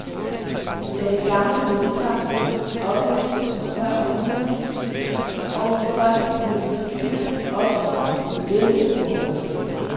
Da det gamle bondesamfund opløses før århundredeskiftet og befolkningen flytter til byerne, opstår det bedste borgerskab.